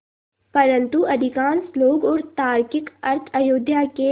परन्तु अधिकांश लोग और तार्किक अर्थ अयोध्या के